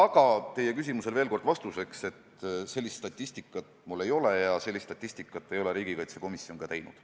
Aga teie küsimusele vastuseks ütlen veel kord, et sellist statistikat mul ei ole ja seda ei ole riigikaitsekomisjon ka teinud.